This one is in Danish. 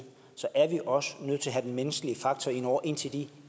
så er vi også nødt til at have den menneskelige faktor ind over indtil de